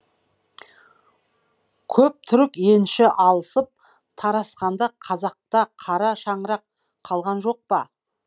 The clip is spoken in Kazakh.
көп түрік енші алысып тарасқанда қазақта қара шаңырақ қалған жоқ па